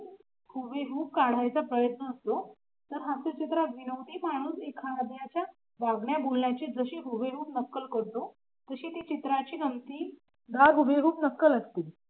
हुबेहूब काढायचा प्रयत्न असतो तर हास्य चित्रात विनोदी माणूस एखाद्याच्या वागण्या बोलण्याचे जसे हुबेहूब नक्कल करतो. तशी ते चित्राची नमती हुबेहूब नक्कल असते.